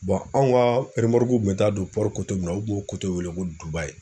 anw kaa remɔruku kun be taa don min na u kun y'o weele ko Dubaï.